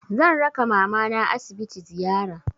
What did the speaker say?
Zan raka mamana asibiti ziyara.